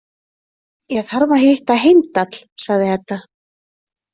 Ég þarf að hitta Heimdall, sagði Edda.